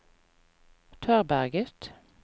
Tørberget